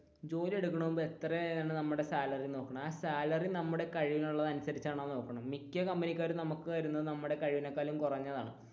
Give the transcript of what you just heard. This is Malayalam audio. ജോലി എടുക്കന്നതിന് മുൻപ് എത്രയാണ് നമ്മുടെ സാലറി എന്ന് നോക്കണം ആ സാലറി നമ്മുടെ കഴിവിനുള്ളത് അനുസരിച്ചാണോ എന്ന് നോക്കണം മിക്യ കമ്പനിക്കാരും നമുക്ക് തരുന്നത് നമ്മുടെ കഴിവിനെ കാലും കുറഞ്ഞതാണ്.